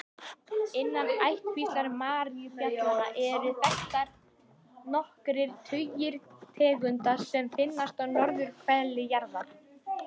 Innan ættkvíslar maríubjallna eru þekktar nokkrir tugir tegunda sem finnast á norðurhveli jarðar.